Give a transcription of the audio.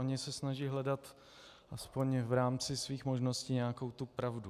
Oni se snaží hledat alespoň v rámci svých možností nějakou tu pravdu.